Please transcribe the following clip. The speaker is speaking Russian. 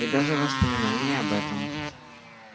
и даже воспоминание об этом